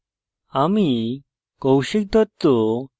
আমি কৌশিক দত্ত